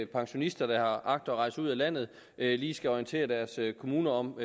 pensionister der agter at rejse ud af landet lige skal orientere deres kommuner om